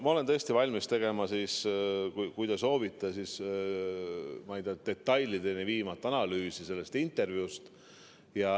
Ma olen tõesti valmis tegema, kui te soovite, detailideni viivat analüüsi sellest intervjuust.